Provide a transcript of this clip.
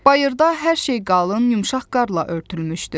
Bayırda hər şey qalın, yumşaq qarlla örtülmüşdü.